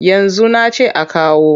Yanzu na ce a kawo.